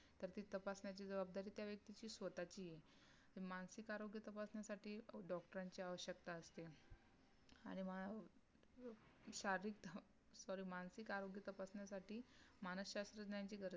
तर ती तपासण्याची जबाबदारी त्या व्यक्तीची स्वतःची आहे तर मानसिक आरोग्य तपासण्यासाठी DOCTER ची आवशक्यता असते आणि मा शारीरिक SORRY मानसिक आरोग्य तपासण्यासाठी मानसशास्त्रज्ञानाची गरज